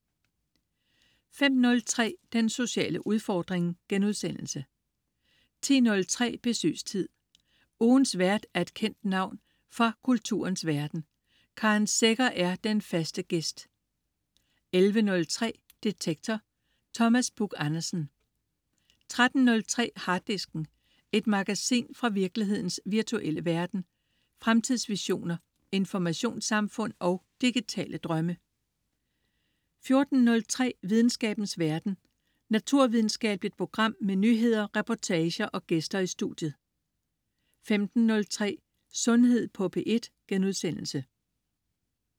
05.03 Den sociale udfordring* 10.03 Besøgstid. Ugens vært er et kendt navn fra kulturens verden. Karen Secher er den faste "gæst" 11.03 Detektor. Thomas Buch Andersen 13.03 Harddisken. Et magasin fra virkelighedens virtuelle verden. Fremtidsvisioner, informationssamfund og digitale drømme 14.03 Videnskabens verden. Naturvidenskabeligt program med nyheder, reportager og gæster i studiet 15.03 Sundhed på P1*